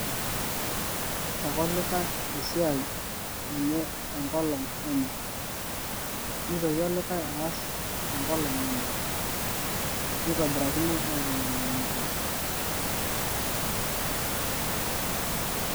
keas ake olikae esiai tenkolong enye neitoki aaas olikae tenkolong' enye nitobirakino aikunakino nejia.